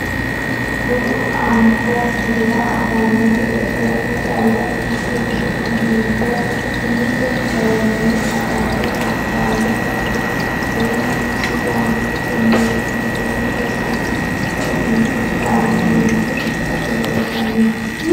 Bude anfokkihura afano gede coyi'ne calla ikkikki uddi'ne biinfe umise horonya agare hara faayyate kuri seennuno sidaamu giddo meentu umo hiise loosirano hiise uduune uddirano yinannita gatisate leellishshanni no.